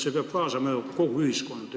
See peab kaasama ju kogu ühiskonda.